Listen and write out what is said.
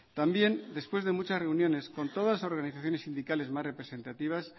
también después de muchas reuniones con todas las organizaciones sindicales más representativas